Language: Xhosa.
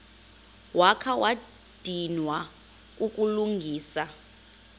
wakha wadinwa kukulungisa